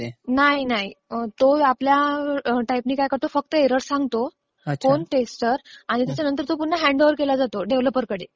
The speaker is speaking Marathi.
नाही. तो आपल्या टाईप ने काय करतो, फक्त एरर्स सांगतो. कोण टैस्टर आणि तो परत हॅन्डओव्हर केला जातो डेव्हलपर कडे